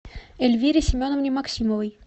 эльвире семеновне максимовой